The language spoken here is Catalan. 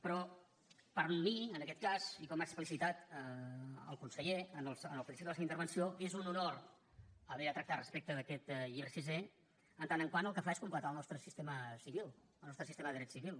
però per mi en aquest cas i com ha explicitat el conseller al principi de la seva intervenció és un honor haver de tractar respecte d’aquest llibre sisè en tant que el que fa és completar el nostre sistema civil el nostre sistema de dret civil